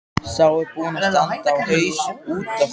Sá er búinn að standa á haus út af þér!